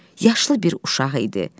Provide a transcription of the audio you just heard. Yaşlı bir uşaq idi.